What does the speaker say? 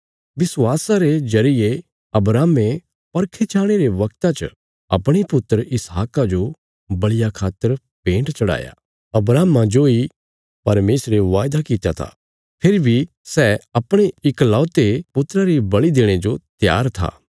विश्वासा रे जरिये अब्राहमे परखे जाणे रे बगता च अपणे पुत्र इसहाका जो बल़िया खातर भेन्ट चढ़ाया अब्राहमा जोई परमेशरे वायदा कित्या था फेरी बी सै अपणे इकलौते पुत्रा री बल़ि देणे जो त्यार था